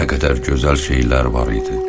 Nə qədər gözəl şeylər var idi.